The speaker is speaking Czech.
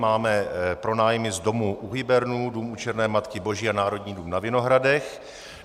Máme pronájmy z domu U Hybernů, dům U Černé Matky Boží a Národní dům na Vinohradech.